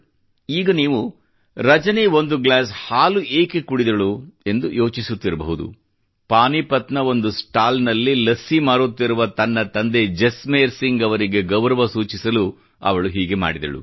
ಈಗ ನೀವು ರಜನಿ ಒಂದು ಗ್ಲಾಸ್ ಹಾಲು ಏಕೆ ಕುಡಿದಳು ಎಂದು ಯೋಚಿಸುತ್ತಿರಬಹುದು ಪಾನಿಪತ್ ನ ಒಂದು ಸ್ಟಾಲ್ ನಲ್ಲಿ ಲಸ್ಸಿ ಮಾರುತ್ತಿರುವ ತನ್ನ ತಂದೆ ಜಸ್ಮೇರ್ ಸಿಂಗ್ ಅವರಿಗೆ ಗೌರವ ಸೂಚಿಸಲು ಅವಳು ಹೀಗೆ ಮಾಡಿದಳು